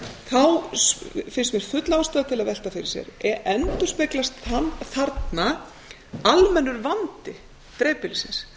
þá finnst mér full ástæða til að velta fyrir sér endurspeglast þarna almennur vandi dreifbýlisins